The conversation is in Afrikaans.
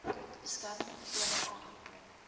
beskermende klere aangekoop